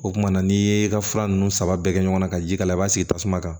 O kumana n'i ye ka fura ninnu saba bɛɛ kɛ ɲɔgɔnna ka ji k'a la i b'a sigi tasuma kan